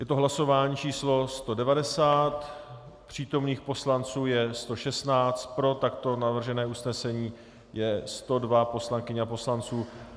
Je to hlasování číslo 190, přítomných poslanců je 116, pro takto navržené usnesení je 102 poslankyň a poslanců.